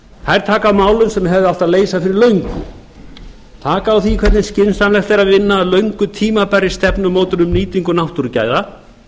þær taka á málum sem hefði átt að leysa fyrir löngu taka á því hvernig skynsamlegt er að vinna að löngu tímabærri stefnumótun um nýtingu náttúrugæða